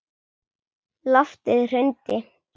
Loftið hrundi.